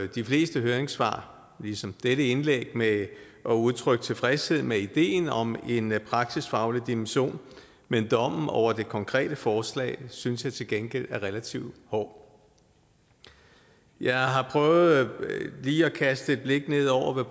de fleste høringssvar ligesom dette indlæg med at udtrykke tilfredshed med ideen om en praksisfaglig dimension men dommen over det konkrete forslag synes jeg til gengæld er relativt hård jeg har prøvet lige at kaste et blik ned over hvad